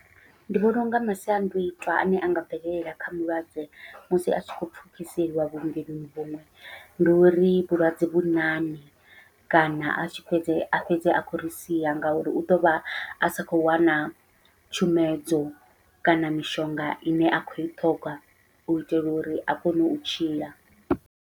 Ndi vhona unga masiandoitwa ane anga bvelela kha mulwadze musi a tshi khou pfhukiseliwa vhuongeloni vhuṅwe, ndi uri vhulwadze vhuṋaṋe kana a tshi fhedze a khou a fhedze a khou ri sia ngauri u ḓovha asa khou wana tshumedzo kana mishonga ine a khou i ṱhoga u itela uri a kone u tshila.